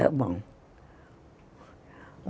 Está bom.